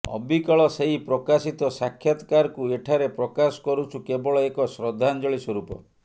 ଅବିକଳ ସେଇ ପ୍ରକାଶିତ ସାକ୍ଷାତକାରକୁ ଏଠାରେ ପ୍ରକାଶ କରୁଛୁ କେବଳ ଏକ ଶ୍ରଦ୍ଧାଞ୍ଜଳୀ ସ୍ୱରୂପ